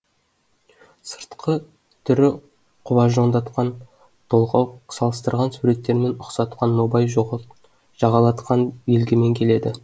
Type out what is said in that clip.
сыртқы түрі құбажондатқан толғау салыстырған суреттермен ұқсатқан нобай жағалатқан белгімен келеді